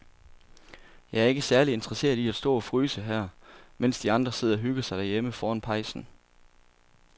Jeg er ikke særlig interesseret i at stå og fryse her, mens de andre sidder og hygger sig derhjemme foran pejsen.